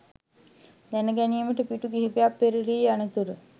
දැන ගැනීමට පිටු කිහිපයක් පෙරළී යනතුරු